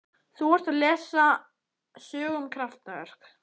Þú ert að lesa sögu um kraftaverk.